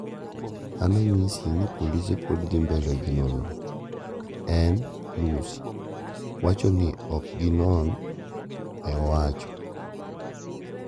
"an anyisi ni polise pod dhi mbele gi nonro , en (Lussi) wacho ni ok gi non" ne owacho